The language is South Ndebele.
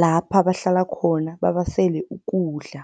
lapha bahlala khona babasele ukudla.